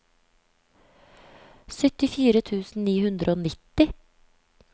syttifire tusen ni hundre og nitti